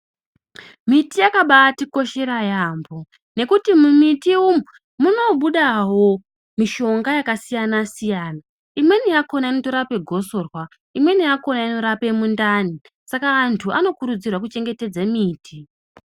Miti yaka batikoshera yaambo nekuti mumiti umu munobudavo mishonga yakasiyana-siyana. Imweni yakona inotorape gosorwa imwe yakona inorape mundani. Saka antu anokurudzirwa kuchengetedze miti.